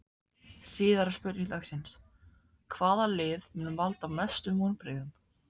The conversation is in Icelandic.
Síðari spurning dagsins: Hvaða lið mun valda mestum vonbrigðum?